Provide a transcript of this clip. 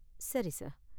சரி சார்.